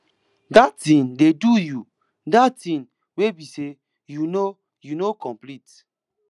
dat thing dey do you dat thing wey be say you no you no complete